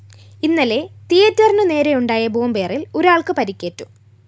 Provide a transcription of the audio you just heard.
ഇന്നലെ തീയറ്ററിനുനേരെയുണ്ടായ ബോംബേറില്‍ ഒരാള്‍ക്ക് പരിക്കേറ്റു